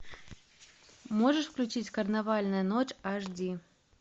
можешь включить карнавальная ночь аш ди